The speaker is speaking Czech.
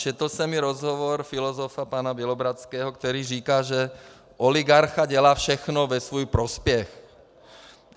Četl jsem i rozhovor filozofa pana Bělohradského, který říká, že oligarcha dělá všechno ve svůj prospěch.